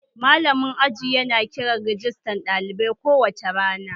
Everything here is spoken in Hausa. Malamin aji yana kiran rajistan ɗalibai kowace rana